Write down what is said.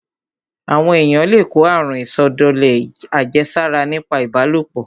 Àwọn èyàn le kó àrun ìsọdọ̀lẹ àjẹsára nípa ìbálòpọ̀.